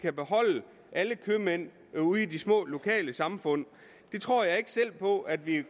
at beholde alle købmænd ude i de små lokalsamfund tror jeg ikke selv på at vi